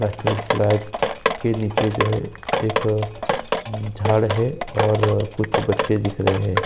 National flag के नीचे जो हैं एक झाड़ हैं और कुछ बच्चे दिख रहे हैं।